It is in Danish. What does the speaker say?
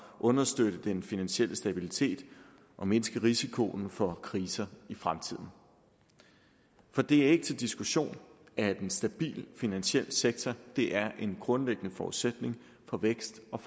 understøtte den finansielle stabilitet og mindske risikoen for kriser i fremtiden for det er ikke til diskussion at en stabil finansiel sektor er en grundlæggende forudsætning for vækst og